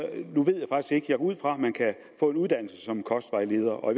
ud fra at man kan få en uddannelse som kostvejleder og